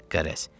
Qərəz.